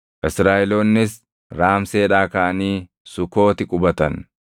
Israaʼeloonnis Raamseedhaa kaʼanii Sukooti qubatan.